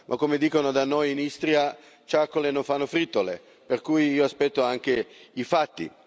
Ma, come dicono da noi in Istria, ciacole no fa fritole, per cui io aspetto anche i fatti.